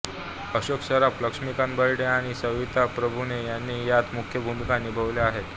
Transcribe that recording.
अशोक सराफ लक्ष्मीकांत बेर्डे आणि सविता प्रभुने यांनी यात मुख्य भूमिका निभावल्या आहेत